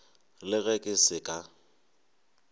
le ge ke se ka